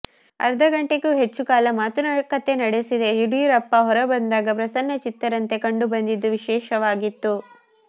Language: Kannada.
ಅರ್ಧ ಗಂಟೆಗೂ ಹೆಚ್ಚು ಕಾಲ ಮಾತುಕತೆ ನಡೆಸಿದ ಯಡಿಯೂರಪ್ಪ ಹೊರಬಂದಾಗ ಪ್ರಸನ್ನಚಿತ್ತರಂತೆ ಕಂಡುಬಂದಿದ್ದು ವಿಶೇಷವಾಗಿತ್ತು